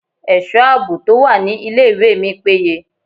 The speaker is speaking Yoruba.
Ẹ̀sọ́ àbò tó wà ní ilé ìwé mi péye.